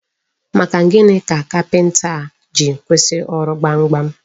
Maka gịnị ka kapinta a ji kwụsị ọrụ gbamgbam?